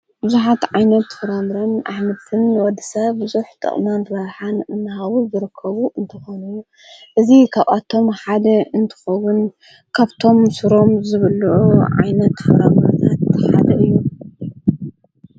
ብዙኃት ዓይነት ፍራምርን ኣሕምልትን ንወድሰብ ብዙሕ ጥቕምን ረብሓን እናሃዉ ይርከቡ እንተኾኑ እዙ ኻብኣቶም ሓደ እንትኾዉን ካብቶም ሱሮም ዝብልዑ ዓይነት ፍረምረ እቲሓደ እዩ።